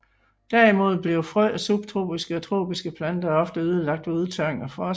Derimod bliver frø af subtropiske og tropiske planter ofte ødelagt ved udtørring og frost